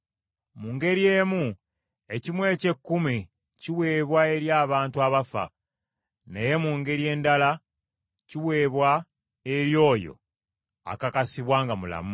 Mu ngeri emu, ekimu eky’ekkumi kiweebwa eri abantu abafa, naye mu ngeri endala, kiweebwa eri oyo akakasibwa nga mulamu.